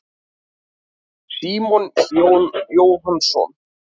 Símon Jón Jóhannsson.